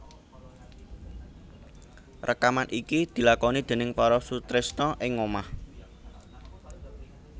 Rekaman iki dilakoni déning para sutresna ing ngomah